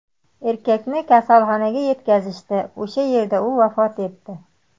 Erkakni kasalxonaga yetkazishdi, o‘sha yerda u vafot etdi.